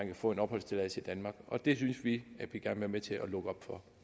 kan få en opholdstilladelse i danmark og det synes vi at vi gerne vil til at lukke op for